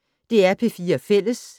DR P4 Fælles